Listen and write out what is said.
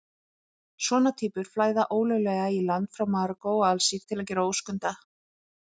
Svona týpur flæða ólöglega í land frá Marokkó og Alsír til að gera óskunda.